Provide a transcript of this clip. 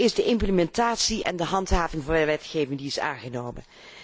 is de implementatie en de handhaving van wetgeving die is aangenomen.